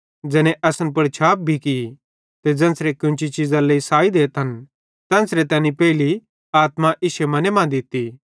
ज़ैने असन पुड़ छाप भी की ते ज़ेन्च़रे कोन्ची चीज़रे लेइ साई देतन तेन्च़रे तैनी पेइली आत्मा इश्शे मने मां दित्ती